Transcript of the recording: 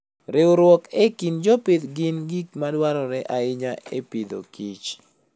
Riwruok e kind jopith gin gik madwarore ahinya e Agriculture and Food.